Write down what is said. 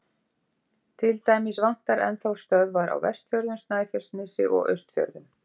Til dæmis vantar enn þá stöðvar á Vestfjörðum, Snæfellsnesi og Austfjörðum.